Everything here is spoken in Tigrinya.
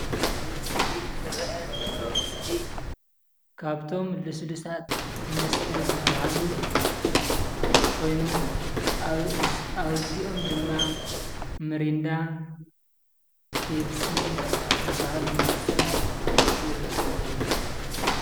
እዚ ኣብ እስክሪን ዝረአ ዘሎ ምስሊ ካብቶም ልስሉሳት መስተ ዝበሃሉ ኮይኑ ኣብ እዚኦም ድማ ሚሪንዳ፣ ፔፕሲ ዝበሃሉ መስተታት ይርከብዎም፡፡